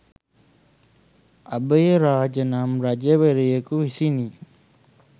අභයරාජ නම් රජවරයකු විසිනි.